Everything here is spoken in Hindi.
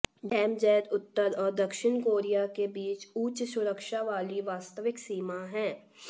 डीएमजेड उत्तर और दक्षिण कोरिया के बीच उच्च सुरक्षा वाली वास्तविक सीमा है